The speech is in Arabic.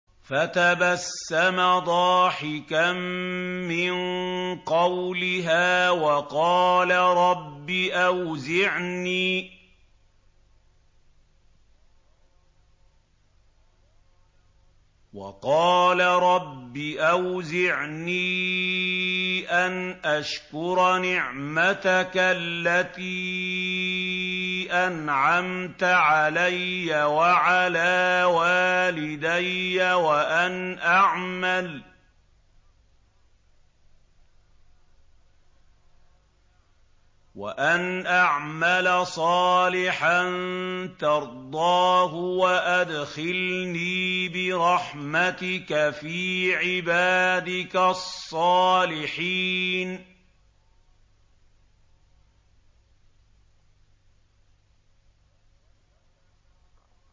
فَتَبَسَّمَ ضَاحِكًا مِّن قَوْلِهَا وَقَالَ رَبِّ أَوْزِعْنِي أَنْ أَشْكُرَ نِعْمَتَكَ الَّتِي أَنْعَمْتَ عَلَيَّ وَعَلَىٰ وَالِدَيَّ وَأَنْ أَعْمَلَ صَالِحًا تَرْضَاهُ وَأَدْخِلْنِي بِرَحْمَتِكَ فِي عِبَادِكَ الصَّالِحِينَ